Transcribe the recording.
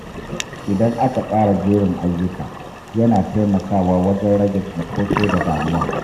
Idan aka tsara jerin ayyuka, yana taimakawa wajen rage cunkoso da damuwa.